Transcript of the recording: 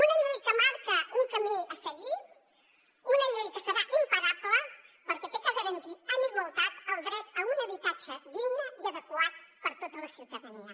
una llei que marca un camí a seguir una llei que serà imparable perquè ha de garantir en igualtat el dret a un habitatge digne i adequat per a tota la ciutadania